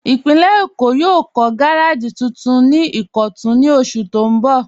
Ìpínlẹ̀ Èkó yóò kọ̀ gàràjì tuntun ni Ìkọ̀tun ní ọṣù tó n bọ́.